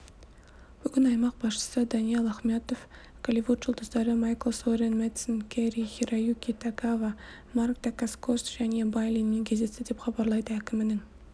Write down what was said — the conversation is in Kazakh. бүгін аймақ басшысы даниал ахметов голливуд жұлдыздары майкл сорен мэдсен кэри-хироюки тагава марк дакаскос және бай линмен кездесті деп хабарлайды әкімінің